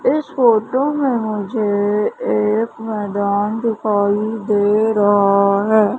इस फोटो में मुझे एक मैदान दिखाई दे रहा है।